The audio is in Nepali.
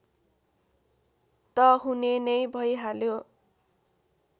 त हुने नै भईहाल्यो